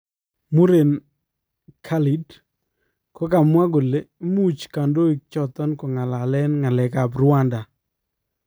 Muren Khalid ,kokamwaa kole muuch kandoiik choton kokangalalen ngalekab Rwanda